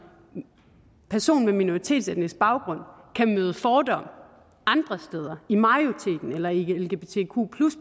person med minoritetsetnisk baggrund kan møde fordomme andre steder i majoriteten eller i lgbtq